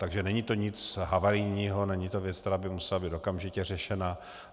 Takže není to nic havarijního, není to věc, která by musela být okamžitě řešena.